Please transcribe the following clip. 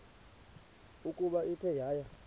ukuba ithe yaya